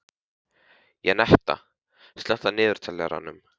Jenetta, slökktu á niðurteljaranum.